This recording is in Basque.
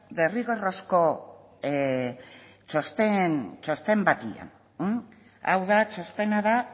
derrigorrezko txosten batean hau da txostena da